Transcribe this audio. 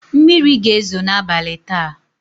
Mmiri ga-ezo n'abalị taa.